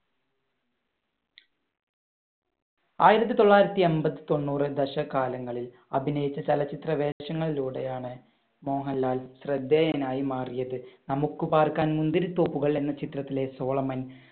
ആയിരത്തി തൊള്ളായിരത്തി എൺപത് തൊണ്ണൂറ് ദേശകാലങ്ങളിൽ അഭിനയിച്ച ചലച്ചിത്ര വേഷങ്ങളിലൂടെയാണ് മോഹൻലാൽ ശ്രദ്ധേയനായി മാറിയത്. നമുക്കു പാർക്കാൻ മുന്തിരിത്തോപ്പുകൾ എന്ന ചിത്രത്തിലെ സോളമൻ,